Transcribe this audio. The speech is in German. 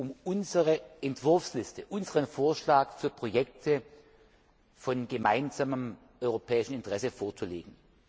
um unsere Entwurfsliste, unseren Vorschlag für Projekte von gemeinsamem europäischen Interesse, vorzulegen.